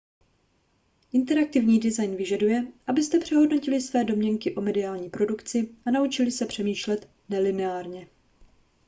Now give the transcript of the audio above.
interaktivní design vyžaduje abyste přehodnotili své domněnky o mediální produkci a naučili se přemýšlet nelineárně